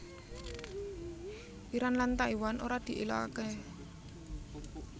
Iran lan Taiwan ora diilokaké